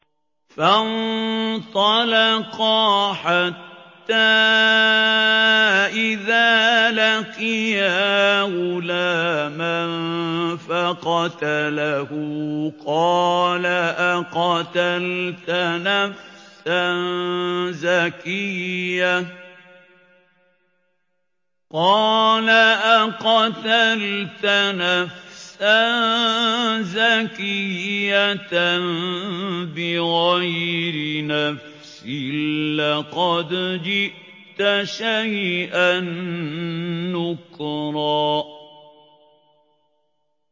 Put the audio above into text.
فَانطَلَقَا حَتَّىٰ إِذَا لَقِيَا غُلَامًا فَقَتَلَهُ قَالَ أَقَتَلْتَ نَفْسًا زَكِيَّةً بِغَيْرِ نَفْسٍ لَّقَدْ جِئْتَ شَيْئًا نُّكْرًا